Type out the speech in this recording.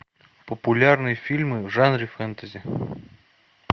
популярные фильмы в жанре фэнтези